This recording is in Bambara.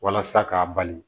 Walasa k'a bali